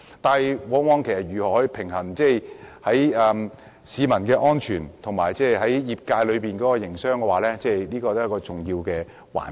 但是，如何平衡市民的安全和業界的營商，也是一個重要的環節。